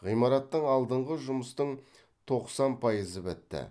ғимараттың алдыңғы жұмыстың тоқсан пайызы бітті